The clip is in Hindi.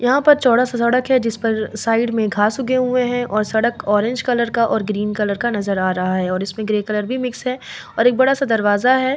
यहाँ पर चौड़ा से सड़क है जिस पर साइड में घास उगे हुए हैं और सड़क ऑरेंज कलर का और ग्रीन कलर का नजर आ रहा है और इसमें ग्रे कलर भी मिक्स है और एक बड़ा सा दरवाजा है।